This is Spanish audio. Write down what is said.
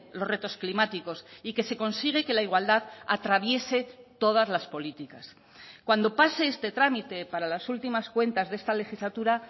los retos climáticos y que se consigue que la igualdad atraviese todas las políticas cuando pase este trámite para las últimas cuentas de esta legislatura